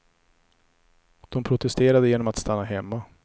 De protesterade genom att stanna hemma.